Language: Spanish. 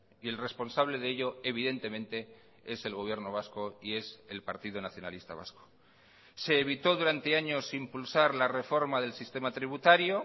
y el responsable de ello evidentemente es el gobierno vasco y es el partido nacionalista vasco se evitó durante años impulsar la reforma del sistema tributario